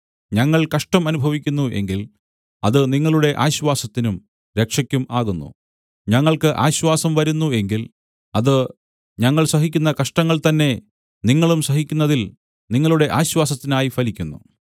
ഞങ്ങൾ കഷ്ടം അനുഭവിക്കുന്നു എങ്കിൽ അത് നിങ്ങളുടെ ആശ്വാസത്തിനും രക്ഷയ്ക്കും ആകുന്നു ഞങ്ങൾക്ക് ആശ്വാസം വരുന്നു എങ്കിൽ അത് ഞങ്ങൾ സഹിക്കുന്ന കഷ്ടങ്ങൾ തന്നെ നിങ്ങളും സഹിക്കുന്നതിൽ നിങ്ങളുടെ ആശ്വാസത്തിനായി ഫലിക്കുന്നു